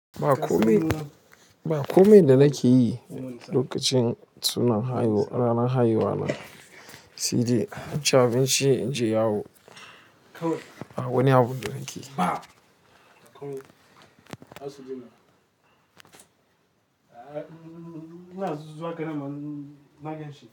Ba komai, ba komai da nake yi lokacin sunan haihuwa ranar haihuwa na, sai dai in ci abinci in je yawo. Ba wani abu da nake yi.